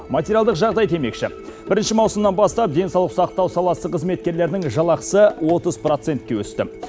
материалдық жағдай демекші бірінші маусымнан бастап денсаулық сақтау саласы қызметкерлерінің жалақысы отыз процентке өсті